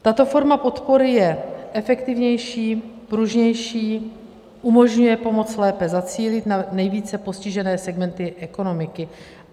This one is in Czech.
Tato forma podpory je efektivnější, pružnější, umožňuje pomoc lépe zacílit na nejvíce postižené segmenty ekonomiky.